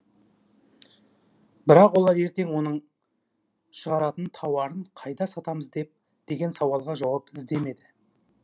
бірақ олар ертең оның шығаратын тауарын қайда сатамыз деген сауалға жауап іздемеді